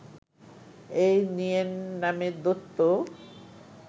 এই নিয়েন নামের দৈত্য